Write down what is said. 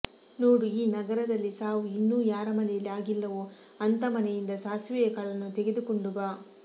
ನೋಡು ಈ ನಗರದಲ್ಲಿ ಸಾವು ಇನ್ನೂ ಯಾರ ಮನೆಯಲ್ಲಿ ಆಗಿಲ್ಲವೋ ಅಂಥ ಮನೆಯಿಂದ ಸಾಸಿವೆಯ ಕಾಳನ್ನು ತೆಗೆದುಕೊಂಡು ಬಾ